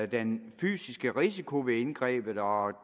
den fysiske risiko ved indgrebet og